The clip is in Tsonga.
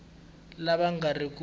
lava va nga ri ku